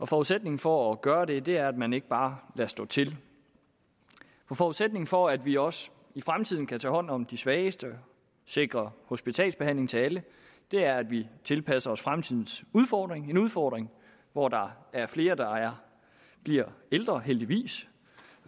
forudsætningen for at gøre det er at man ikke bare lader stå til forudsætningen for at vi også i fremtiden kan tage hånd om de svageste sikre hospitalsbehandling til alle er at vi tilpasser os fremtidens udfordring en udfordring hvor der er flere der bliver ældre heldigvis